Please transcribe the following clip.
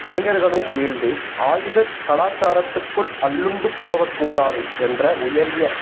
இளைஞர்களும் வீழ்ந்து ஆயுதக் கலாசாரத்துக்குள் அள்ளுண்டு போகக் கூடாது என்ற உயரிய